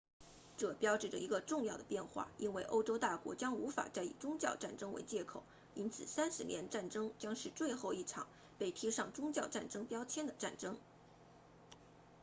这标志着一个重要的变化因为欧洲大国将无法再以宗教战争为借口因此三十年战争将是最后一场被贴上宗教战争标签的战争